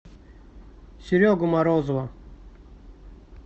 серегу морозова